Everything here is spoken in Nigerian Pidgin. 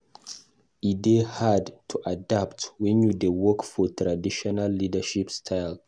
E dey hard to adapt wen you dey work for traditional leadership style.